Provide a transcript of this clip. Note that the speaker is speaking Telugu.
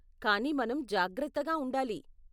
కానీ మనం జాగ్రత్తగా ఉండాలి.